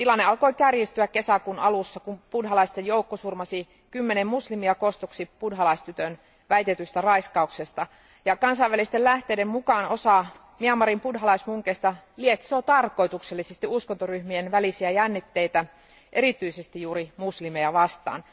Tilanne alkoi kärjistyä kesäkuun alussa, kun buddhalaisten joukko surmasi kymmenen muslimia kostoksi buddhalaistytön väitetystä raiskauksesta. Kansainvälisten lähteiden mukaan osa Myanmarin buddhalaismunkeista lietsoo tarkoituksellisesti uskontoryhmien välisiä jännitteitä, erityisesti juuri muslimeja vastaan.